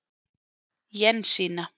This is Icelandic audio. Jensína